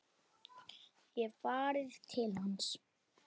Ég hef farið til hans.